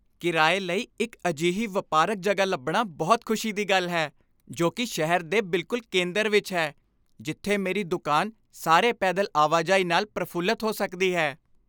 ਕਿਰਾਏ ਲਈ ਇੱਕ ਅਜਿਹੀ ਵਪਾਰਕ ਜਗ੍ਹਾ ਲੱਭਣਾ ਬਹੁਤ ਖੁਸ਼ੀ ਦੀ ਗੱਲ ਹੈ ਜੋ ਕਿ ਸ਼ਹਿਰ ਦੇ ਬਿਲਕੁਲ ਕੇਂਦਰ ਵਿੱਚ ਹੈ, ਜਿੱਥੇ ਮੇਰੀ ਦੁਕਾਨ ਸਾਰੇ ਪੈਦਲ ਆਵਾਜਾਈ ਨਾਲ ਪ੍ਰਫੁੱਲਤ ਹੋ ਸਕਦੀ ਹੈ।